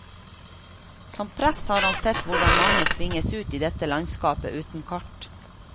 Som prest har han sett hvordan mange tvinges ut i dette landskapet uten kart.